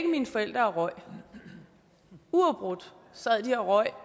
mine forældre og røg uafbrudt sad de og røg